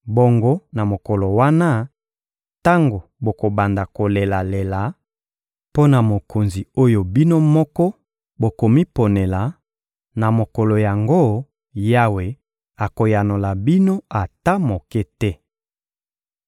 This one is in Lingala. Bongo na mokolo wana, tango bokobanda kolelalela mpo na mokonzi oyo bino moko bokomiponela, na mokolo yango, Yawe akoyanola bino ata moke te.